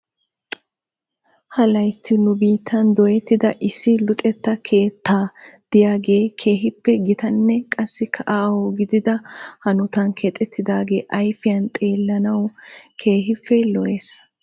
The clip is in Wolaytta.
Ha laytti nu biittan dooyettida issi luxxetta keetta diyaagee keehippe gitanne qassikka aaho gidida hanotan keexettidaagee ayfiyan xeellanaw keehippe lo'es.